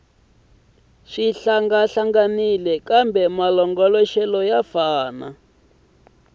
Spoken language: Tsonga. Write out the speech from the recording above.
swi hlangahlanganile kambe malongoloxelo ya